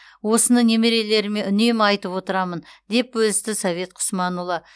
осыны немерелеріме үнемі айтып отырамын деп бөлісті совет құсманұлы